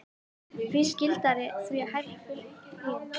Því skyldari, því hærri fylgni.